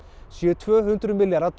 séu tvö hundruð milljarðar